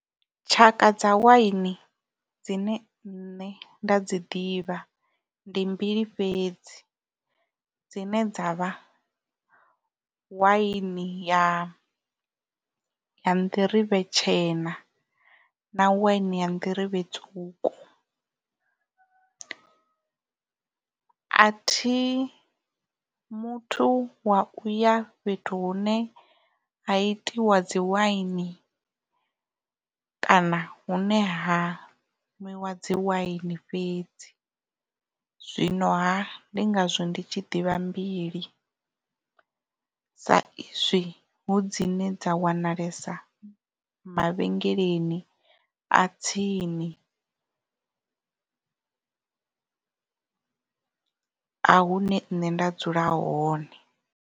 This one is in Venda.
Tshaka dza waini dzine nṋe nda dzi ḓivha ndi mbili fhedzi dzine dza vha waini ya nḓirivhe tshena na waini ya nḓirivhe tswuku a thi muthu wa uya fhethu hune ha itiwa dzi waini kana hune ha nwiwa dzi waini fhedzi zwino ha ndi ngazwo ndi tshi ḓivha mbili sa izwi hu dzine dza wanalesa mavhengeleni a tsini a hune nṋe nda dzula hone.